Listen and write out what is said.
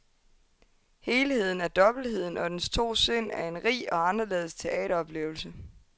Helheden af dobbeltheden og dens to sind er en rig og anderledes teateroplevelse.